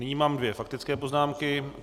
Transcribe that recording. Nyní mám dvě faktické poznámky.